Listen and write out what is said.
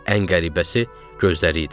Ən qəribəsi gözləri idi.